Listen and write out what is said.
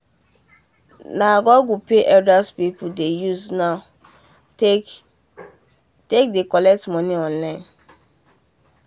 na google pay elder people dey use now take dey collect money online